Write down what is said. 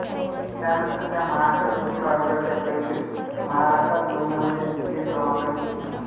त्यानंतर त्या महाराष्ट्र लोकसेवा आयोगाच्या परीक्षेत महाराष्ट्रात महिलांमध्ये द्वितीय क्रमांकाने उत्तीर्ण झाल्या